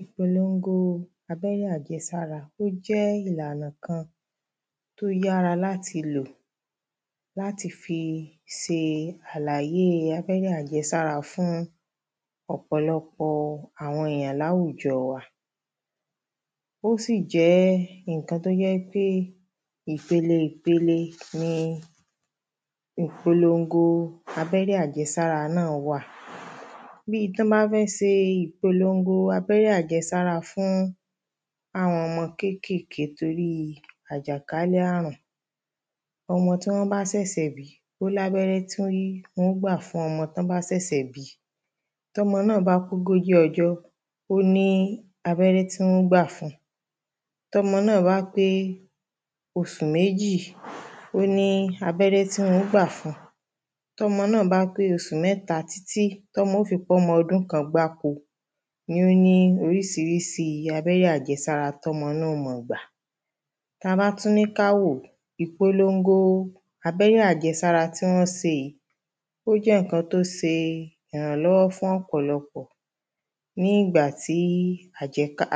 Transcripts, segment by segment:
Ìpolongo abẹ́rẹ́ àjẹsára ó jẹ́ ìlànà kan tí ó yára láti lò láti fi ṣe àlàyé abẹ́rẹ́ àjẹsárá fún ọ̀pọ̀lọpọ̀ àwọn èyàn ní àwùjọ wa Ó sì jẹ́ nǹkan tí ó jẹ́ ń pé ìpele ìpele ni ìpolongo abẹ́rẹ́ àjẹsára náà wà Bíi tí wọ́n bá fẹ́ ṣe ìpolongo abẹ́rẹ́ àjẹsára fún àwọn ọmọ kékèèké torí àjàkálẹ̀ ààrùn Ọmọ tí wọ́n bá ṣẹ̀ṣẹ̀ bí ó ní abẹ́rẹ́ tí wọ́n óò gbà fún ọmọ tí wọ́n bá ṣèṣè bí Tí ọmọ náà bá pé ogójì ọjọ́ ó ní abẹ́rẹ́ tí wọ́n ó gbà fun Tí ọmọ náà bá pé oṣù méjì ó ní abẹ́rẹ́ tí wọ́n ó gbà fun Tí ọmọ náà bá pé oṣù mẹ́ta títí tí ó ọmọ óò fi pé ọmọ ọdún kan gbáko ni ó ní oríṣiríṣi abẹ́rẹ́ àjẹsára tí ọmọ náà óò máa gbà Tí a bá tún ní kí a wò ó Ìpolongo abẹ́rẹ́ àjẹsára tí wọ́n ṣe yìí ó jẹ́ nǹkan tí ó ṣe ìrànlọ́wọ́ fún ọ̀pọ̀lọpọ̀ Ní ìgbà tí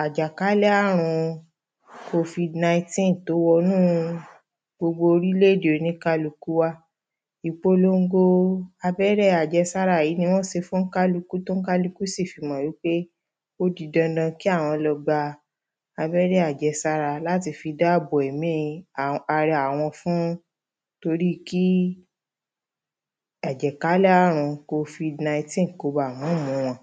àjákalẹ̀ ààrùn covid nineteen tí ó wọnú gbogbo orílẹ̀ èdè oníkálukú wa ìpolongo abẹ́rẹ́ àjẹsára yìí ni wọ́n ṣe fún oníkálukú tí oníkálukú sì fi mọ̀ wípé ó di dandan kí àwọn lọ gba abèrè àjẹsára láti fi dáàbò bo ẹ̀mí ara àwọn fún torí kí àjàkálẹ̀ ààrùn covid nineteen kí ó má baà mú wọn